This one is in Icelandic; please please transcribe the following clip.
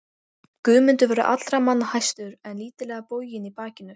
Guðmundur var allra manna hæstur en lítillega boginn í baki.